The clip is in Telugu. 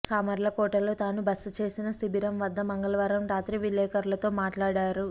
సామర్లకోటలో తాను బసచేసిన శిబిరం వద్ద మంగళవారం రాత్రి విలేఖర్లతో మాట్లాడారు